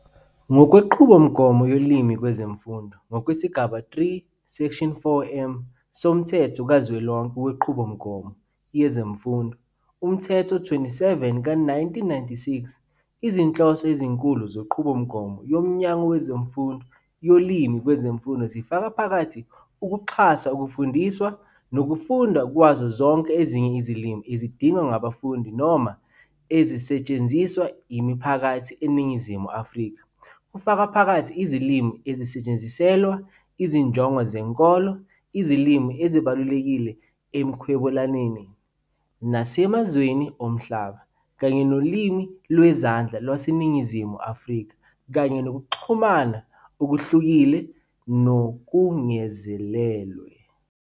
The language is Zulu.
Ngokwenqubomgomo "yolimi kwezemfundo" ngokwesigaba 3, 4, m, soMthetho Kazwelonke Wenqubomgomo Yezemfundo, Umthetho 27 ka-1996, izinhloso ezinkulu zenqubomgomo yoMnyango Wezemfundo yolimi kwezemfundo zifaka phakathi "ukuxhasa ukufundiswa nokufundwa kwazo zonke ezinye izilimi ezidingwa ngabafundi noma ezisetshenziswa yimiphakathi eNingizimu Afrika, kufaka phakathi izilimi ezisetshenziselwa izinjongo zenkolo, izilimi ezibalulekile ekuhwebelaneni nasemazweni omhlaba, kanye noLimi Lwezandla LwaseNingizimu Afrika, kanye Nokuxhumana Okuhlukile Nokungezelelwe ".